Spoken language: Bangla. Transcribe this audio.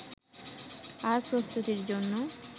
আর প্রস্তুতির জন্য